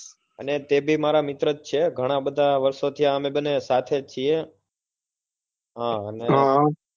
અને તે ભી મારા મિત્ર જ છે ઘણા બધા વર્ષો થી અમે બન્ને સાથે જ છીએ હમ અને